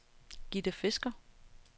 Gitte Fisker